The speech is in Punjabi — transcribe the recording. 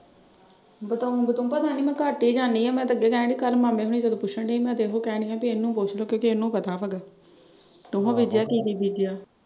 ਬਤਾਊਂ ਬਤਾਊਂ ਪਤਾ ਨਈ ਮੈਂ ਘੱਟ ਈ ਜਾਨੀ ਆਂ ਮੈਂ ਤਾਂ ਅੱਗੇ ਕਹਿਣ ਡਈ ਕੱਲ ਮਾਮੇ ਹੁਣੀ ਜਦੋਂ ਪੁੱਛਣ ਡੈ ਸੀ। ਮੈਂ ਤਾਂ ਏਹੋ ਕਹਿਣ ਡਈ ਆਂ ਬਈ ਇਹਨੂੰ ਪੁੱਛ ਲਓ ਕਿਉਂਕਿ ਇਹਨੂੰ ਪਤਾ ਵਾ। ਤੂੰ ਹੀ ਬੀਜਿਆ ਕੀ ਕੀ ਬੀਜਿਆ?